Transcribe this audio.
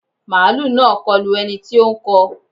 Màálù náà kọlu ẹni tí ó ń kọ